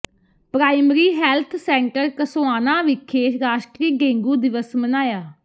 primary health centre Kassoana ਵਿਖੇ ਰਾਸ਼ਟਰੀ dengue ਦਿਵਸ ਮਨਾਇਆ